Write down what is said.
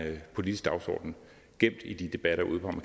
politisk dagsorden gemt i de debatter ude på